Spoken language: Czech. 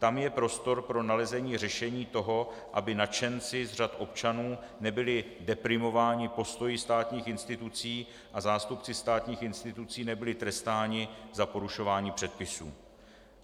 Tam je prostor pro nalezení řešení toho, aby nadšenci z řad občanů nebyli deprimováni postoji státních institucí a zástupci státních institucí nebyli trestáni za porušování předpisů.